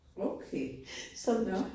Okay. Nåh